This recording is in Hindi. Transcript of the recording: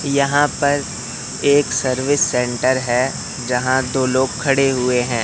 यहां पर एक सर्विस सेंटर है जहां दो लोग खड़े हुए हैं।